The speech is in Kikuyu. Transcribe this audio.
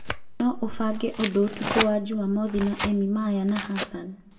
No ũbange ũndũ ũtukũ wa Jumamothi na emi maya na hassan